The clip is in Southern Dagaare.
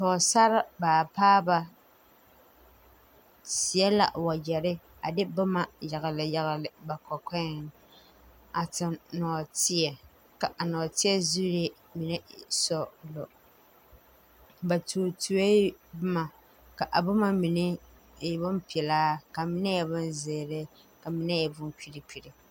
Pɔɔsare baapaaba seɛ la wagyɛrre a de bomma yagle yagle ba kɔkɔɛŋ a tuŋ nɔɔteɛ ka a nɔɔteɛ zuree mine e sɔglɔ ba tuo tuoee bomma ka a bomma mine e bonpilaa ka mine e bonzeere ka mine bon pirepire.